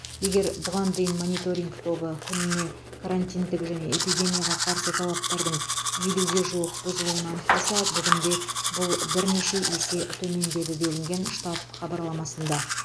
егер бұған дейін мониторинг тобы күніне карантиндік және эпидемияға қарсы талаптардың елуге жуық бұзылуын анықтаса бүгінде бұл бірнеше есе төмендеді делінген штаб хабарламасында